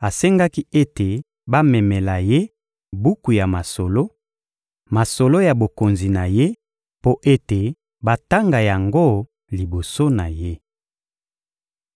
asengaki ete bamemela ye buku ya masolo, masolo ya bokonzi na ye, mpo ete batanga yango liboso na ye.